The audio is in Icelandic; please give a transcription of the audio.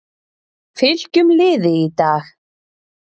Fylkjum liði í dag-